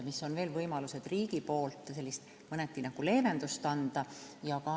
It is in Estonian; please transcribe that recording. See on üks teema, mida ei saanud praegu puudutada.